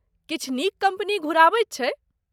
किछु नीक कम्पनी घुराबैत छै।